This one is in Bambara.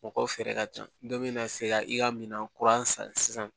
Mɔgɔw feere ka ca dɔ bɛna se ka i ka minan kura san sisan